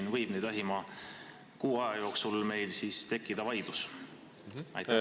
Kus meil võib lähima kuu aja jooksul vaidlusi tekkida?